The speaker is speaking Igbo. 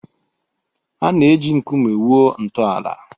A na-eji nkume wuo ntọala.